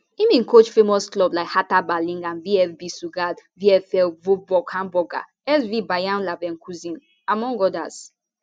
im bin coach famous clubs like hertha berlin and vfb stuttgart vfl wolfsburg hamburger sv bayer leverkusen among odas